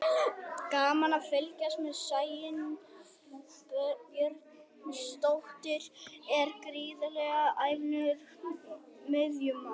Gaman að fylgjast með: Sæunn Björnsdóttir er gríðarlega efnilegur miðjumaður.